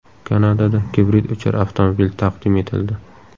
Kanadada gibrid uchar avtomobil taqdim etildi .